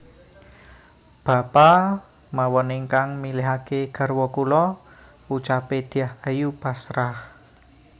Bapa mawon ingkang milihake garwa kula ucape Dyah Ayu pasrah